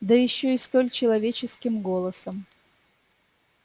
да ещё и столь человеческим голосом